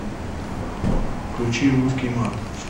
включи русский мат